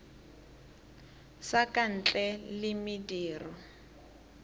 sa ka ntle le mediro